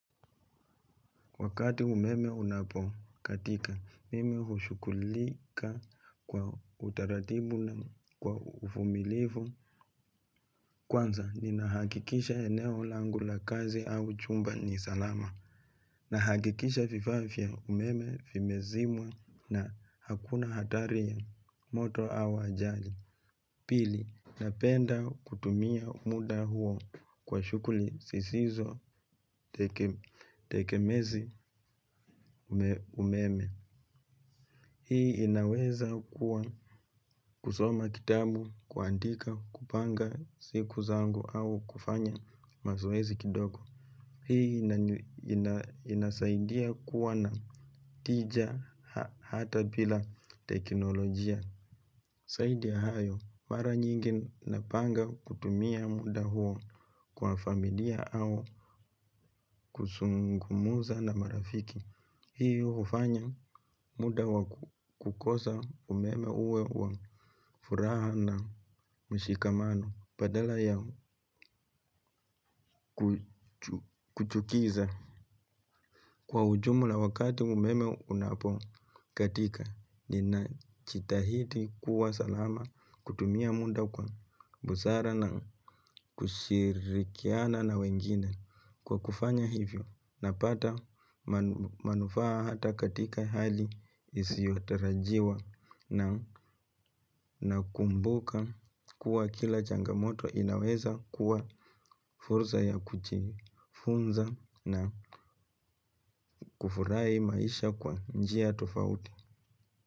Wakati umeme unapo katika mimi hushughulika kwa utaratibu na kwa uvumilivu. Kwanza ni nahakikisha eneo langu la kazi au chumba ni salama. Nahakikisha vifaa vya umeme vimezimwa na hakuna hatari ya moto au ajali. Pili, napenda kutumia muda huo kwa shughuli zisizo tegemezi umeme. Hii inaweza kuwa kusoma kitabu, kuandika, kupanga siku zangu au kufanya mazoezi kidogo. Hii inasaidia kuwa na tija hata bila teknolojia. Zaidi ya hayo, mara nyingi napanga kutumia muda huo kwa familia au kuzungumuza na marafiki. Hiyo hufanya muda wa kukosa umeme uwe wa furaha na mshikamano badala ya kuchukiza. Kwa ujumla wakati umeme unapo katika nina jitahidi kuwa salama kutumia muda kwa busara na kushirikiana na wengine kwa kufanya hivyo na pata manufaa hata katika hali isiotarajiwa na kumbuka kuwa kila changamoto inaweza kuwa fursa ya kujifunza na kufurahi maisha kwa njia. Tofauti.